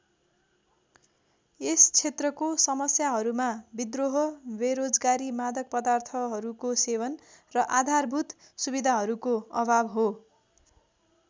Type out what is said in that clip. यस क्षेत्रको समस्याहरूमा विद्रोह बेरोजगारी मादक पदार्थहरूको सेवन र आधारभूत सुविधाहरूको अभाव हो।